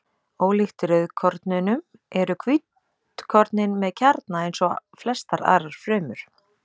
ólíkt rauðkornunum eru hvítkornin með kjarna eins og flestar aðrar frumur